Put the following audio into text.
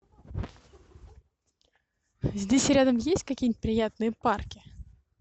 здесь рядом есть какие нибудь приятные парки